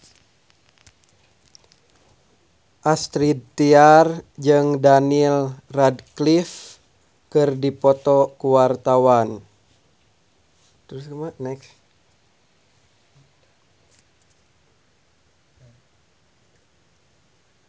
Astrid Tiar jeung Daniel Radcliffe keur dipoto ku wartawan